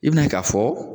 I bina ye k'a fɔ